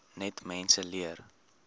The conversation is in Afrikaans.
net mense leer